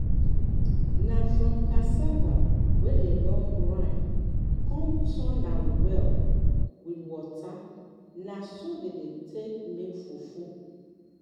na from cassava wey dey don grind con turn um am well with water na so dey take dey make fufu